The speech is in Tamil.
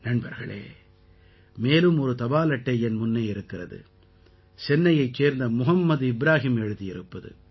நண்பர்களே மேலும் ஒரு தபால் அட்டை என் முன்னே இருக்கிறது சென்னையைச் சேர்ந்த முகம்மது இப்ராஹிம் எழுதியிருப்பது